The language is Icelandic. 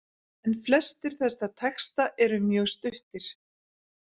En flestir þessara texta eru mjög stuttir.